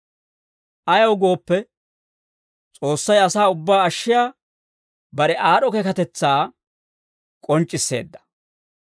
Ayaw gooppe, S'oossay asaa ubbaa ashshiyaa bare aad'd'o keekatetsaa k'onc'c'isseedda.